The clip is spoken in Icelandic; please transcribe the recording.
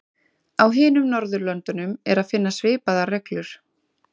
Á hinum Norðurlöndunum er að finna svipaðar reglur.